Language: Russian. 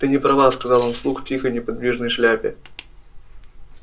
ты не права сказал он вслух тихой неподвижной шляпе